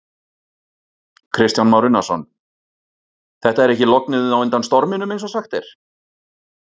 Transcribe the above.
Kristján Már Unnarsson: Þetta er ekki lognið á undan storminum eins og sagt er?